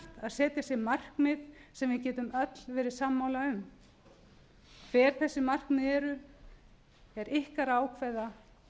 setja sér markmið sem við getum flest verið sammála um hver þessi markmið eru er ykkar að ákveða